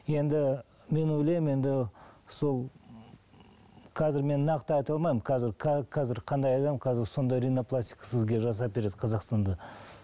енді мен ойлаймын енді сол қазір мен нақты айта алмаймын қазір қазір қандай адам сондай ринопластика сізге жасап береді сізге қазақстанда